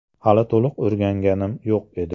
Hali to‘liq o‘rganganim yo‘q edi.